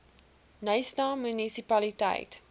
knysna munisipaliteit